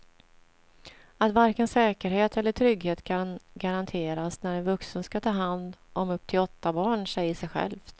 Att varken säkerhet eller trygghet kan garanteras när en vuxen ska ta hand om upp till åtta barn säger sig självt.